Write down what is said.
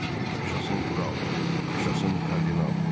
Yaşasın kral, yaşasın kardinal!